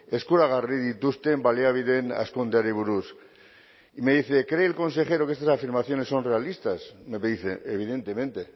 eskuragarri dituzten baliabideen hazkundeari buruz me dice cree el consejero que estas afirmaciones son realistas me dice evidentemente